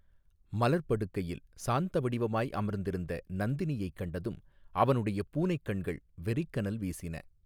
மலர்ப் படுக்கையில் சாந்த வடிவமாய் அமர்ந்திருந்த நந்தினியைக் கண்டதும் அவனுடைய பூனைக் கண்கள் வெறிக் கனல் வீசின.